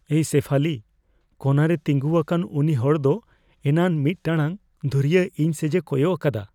ᱮᱭ ᱥᱮᱯᱷᱟᱞᱤ, ᱠᱳᱱᱟ ᱨᱮ ᱛᱤᱸᱜᱩᱣᱟᱠᱟᱱ ᱩᱱᱤ ᱦᱚᱲ ᱫᱚ ᱮᱱᱟᱱ ᱢᱤᱫ ᱴᱟᱲᱟᱝ ᱫᱷᱩᱨᱤᱭᱟᱹ ᱤᱧ ᱥᱮᱡᱮ ᱠᱚᱭᱚᱜ ᱟᱠᱟᱫᱟ ᱾